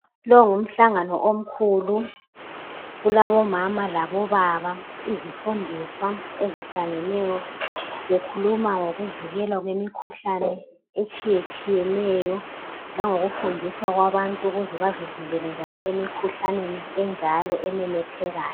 Lo ngumhlangano omkhul kulabomama labobaba izifundiswa ezihlangeneyo bekhuluma ngokuvikelwa kwemikhuhlane etshiyetshiyeneyo langokufundiswa kwabantu ukuze bazivikele emikhuhlaneni enjalo ememethekayo.